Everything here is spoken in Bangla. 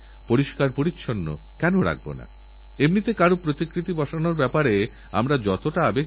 হতে পারে আপনি কিছু সময়ের জন্য আরাম পেলেন কিন্তু আমাদের উচিত ডাক্তারদের পরামর্শছাড়া অ্যাণ্টিবায়োটিক খাওয়া বন্ধ করা